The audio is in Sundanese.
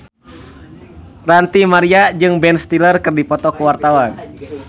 Ranty Maria jeung Ben Stiller keur dipoto ku wartawan